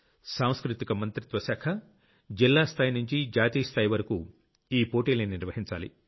సాంస్కృతిక మంత్రిత్వ శాఖ జిల్లా స్థాయి నుంచి జాతీయ స్థాయి వరకూ ఈ పోటీల్ని నిర్వహించాలి